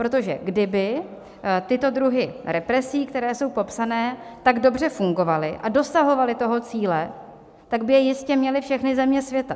Protože kdyby tyto druhy represí, které jsou popsány, tak dobře fungovaly a dosahovaly toho cíle, tak by je jistě měly všechny země světa.